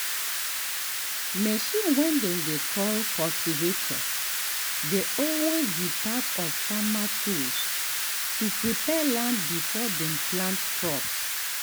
machine way dem dey call cultivator dey always be part of farmer tools to prepare land before dem plant crops.